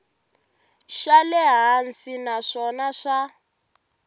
xa le hansi naswona swa